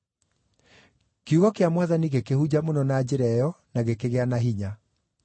Kiugo kĩa Mwathani gĩkĩhunja mũno na njĩra ĩyo na gĩkĩgĩa na hinya.